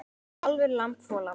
Kálfur, lamb, folald.